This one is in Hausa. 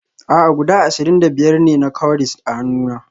A'a guda ashirin da biyar ne na cowries a hannuna